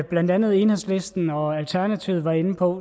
blandt andet enhedslisten og alternativet var inde på